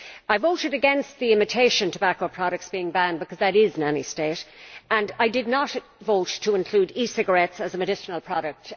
I voted against the imitation tobacco products being banned, because that is nanny state, and I did not vote to include e cigarettes as medicinal products.